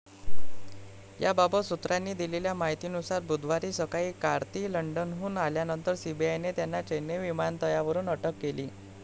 याबाबत सूत्रांनी दिलेल्या माहितीनुसार बुधवारी सकाळी कार्ती लंडनहून आल्यानंतर सीबीआयने त्यांना चेन्नई विमानतळावरून अटक केली.